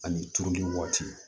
Ani turuli waati